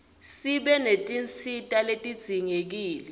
sibe netinsita letidzingekile